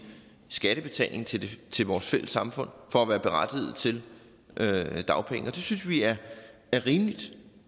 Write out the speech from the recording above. skattebetaling til til vores fælles samfund for at være berettiget til dagpenge og det synes vi er rimeligt